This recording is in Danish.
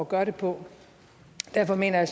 gøre det på derfor mener jeg